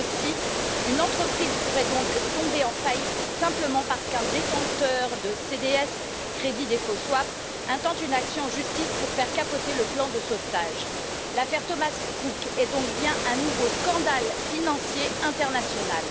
Je cite une entreprise pourrait donc tomber en faillite simplement parce qu'un détenteur de CDS intente une action en justice pour faire capoter le plan de sauvetage. L'affaire Thomas Cook est donc bien un nouveau scandale financier international.